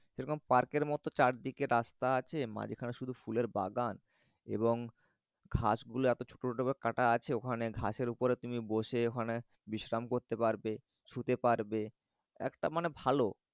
সেরকম পার্কের মতন চারদিকে রাস্তা আছে মাঝখানে শুধু ফুলের বাগান এবং ঘাস গুলো এত ছোট ছোট করে কাটা আছে ওখানে ঘাসের উপরে তুমি বসে ওখানে বিশ্রাম করতে পারবে। শুতে পারবে একটা মানে ভালো।